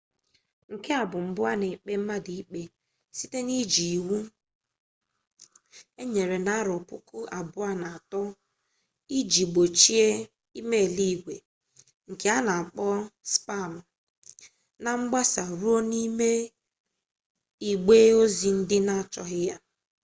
nke a bụ mbụ a na-ekpe mmadụ ikpe site n'iji iwu enyere na 2003 iji gbochie e-mail igwe nke a na-akpọ spam na mgbasa ruo n'ime igbe ozi ndị na-achọghị ya